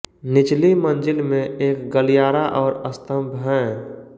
निचली मंज़िल में एक गलियारा और स्तम्भ हैं